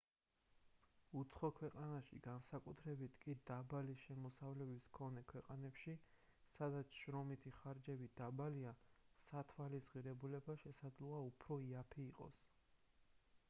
უცხო ქვეყანაში განსაკუთრებით კი დაბალი შემოსავლების მქონე ქვეყნებში სადაც შრომითი ხარჯები დაბალია სათვალის ღირებულება შესაძლოა უფრო იაფი იყოს